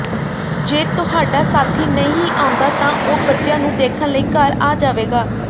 ਜੇ ਤੁਹਾਡਾ ਸਾਥੀ ਨਹੀਂ ਆਉਂਦਾ ਤਾਂ ਉਹ ਬੱਚਿਆਂ ਨੂੰ ਦੇਖਣ ਲਈ ਘਰ ਆ ਜਾਵੇਗਾ